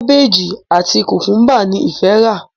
Kábéèjì àti Kùkúmbà ni ìfẹ rà.